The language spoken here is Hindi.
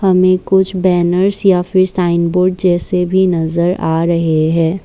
हमें कुछ बैनर या फिर साइनबोर्ड जैसे भी नज़र आ रहे हैं।